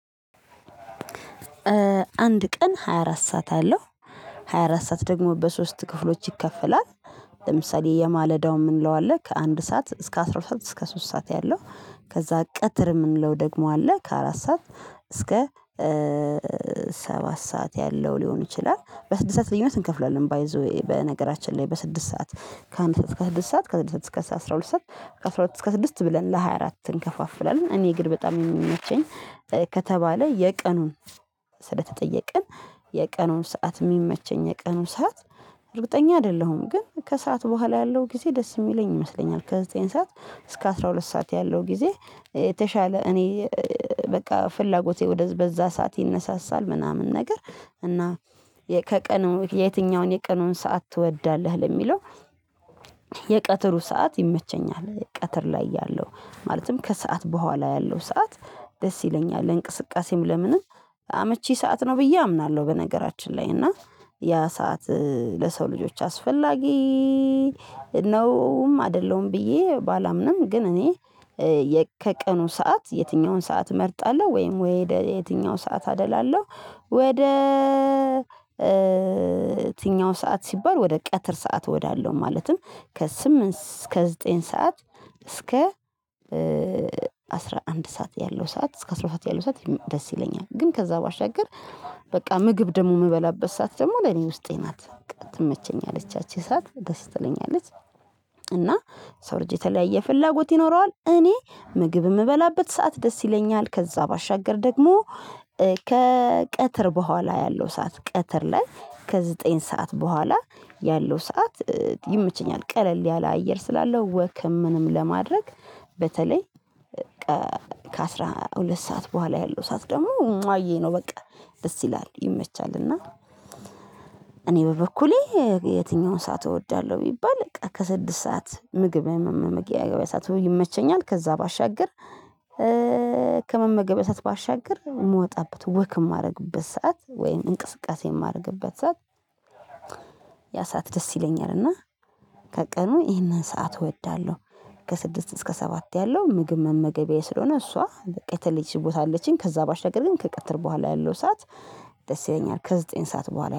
አንድ ቀን ሃያ አራት ሰዓት አለው ሃያ አራት ሰዓት ደግሞ በሶስት ክፍሎች ይከፈላል። ለምሳሌ የማለዳው ምን እንለዋለን ከአንድ ሰዓት እስከ አስራ ሁለት ሰዓት እስከ ሶስት ሰዓት ያለው። ከዛ ቀትር የምንለው ደግሞ አለ ከአራት ሰዓት እስከ ሰባት ሰዓት ያለው ሊሆን ይችላል በስድስት ሰዓት ልዩነት እንከፍላለን ባይ ዘ ዌይ በነገራችን ላይ በስድስት ሰዓት። ከአንድ ሰዓት እስከ ስድስት ሰዓት ከስድስት እስከ አስራ ሁለት ሰዓት ከአስራ ሁለት እስከ ስድስት ብለን ለሃያ አራት እንከፋፍላለን። እኔ ግን በጣም የሚመቸኝ ከተባለ የቀኑን ስለተጠየቅን የቀኑን ሰዓት የሚመቸኝ የቀኑን ሰዓት። እርግጠኛ አይደለሁም ግን ከሰአት በኋላ ያለው ጊዜ ደስ የሚለኝ ይመስለኛል ከዘጠኝ ሰዓት እስከ አስራ ሁለት ሰዓት ያለው ጊዜ። የተሻለ እኔ በቃ ፍላጎቴ ወደዛ በዛ ሰዓት ይነሳሳል ምናምን ነገር እና። ከቀኑ የትኛውን የቀኑን ሰዓት ትወዳለህ ለሚለው? ሰዓት ይመቸኛል ቀትር ላይ ያለው ማለትም ከሰአት በኋላ ያለው ሰዓት። ደስ ይለኛል ለእንቅስቃሴም ለምንም አመቺ ሰዓት ነው ብዬ አምናለሁ። በነገራችን ላይ እና ያ ሰዓት ለሰው ልጆች አስፈላጊ ነውም አይደለም ብዬ ባላምንም ግን እኔ ከቀኑ ሰዓት የትኛውን ሰዓት እመርጣለሁ ወይም ወይ የትኛው ሰዓት አደላለሁ? ወደ የትኛው ሰዓት ሲባል ወደ ቀትር ሰዓት ወዳለው ማለትም ከስምንት እስከ ዘጠኝ ሰዓት እስከ አስራ አንድ ሰዓት ያለው ሰዓት እስከ አስራ ሁለት ሰዓት ያለው ሰዓት ደስ ይለኛል። ግን ከዛ ባሻገር በቃ ምግብ ደግሞ የምበላበት ሰዓት ደግሞ ለኔ ውስጤ ናት ትመቸኛለች ያቺ ሰዓት ደስ ትለኛለች። እና የሰው ልጅ የተለያየ ፍላጎት ይኖረዋል እኔ ምግብ የምበላበት ሰዓት ደስ ይለኛል። ከዛ ባሻገር ደግሞ ከቀትር በኋላ ያለው ሰዓት ቀትር ላይ ከዘጠኝ ሰዓት በኋላ ያለው ሰዓት። ይመቸኛል ቀለል ያለ አየር ስላለው ወክም ምንም ለማድረግ በተለይ ከአሥራ ሁለት ሰዓት በኋላ ያለው ሰዓት ደግሞ እምጿየ ነው በቃ ደስ ይላል ይመቻል። እና እኔ በበኩሌ የትኛውን ሰዓት እወዳለሁ ቢባል በቃ ከስድስት ሰዓት ምግብ መመገቢያ ሰዓት ይመቸኛል። ከዛ ባሻገር ከመመገቢያ ሰዓት ባሻገር የምወጣበት ወክ የማደርግበት ሰዓት ወይም እንቅስቃሴ የማደርግበት ሰዓት ያ ሰዓት ደስ ይለኛል። እና ከቀኑ ይህንን ሰዓት እወዳለሁ። ከስድስት እስከ ሰባት ያለው ምግብ መመገቢያዬ ስለሆነ እሷ በቃ የተለየች ቦታ አለችኝ ከዛ ባሻገር ግን ከቀጥር በኋላ ያለው ሰዓት ደስ ይለኛል ከዘጠኝ ሰዓት በኋላ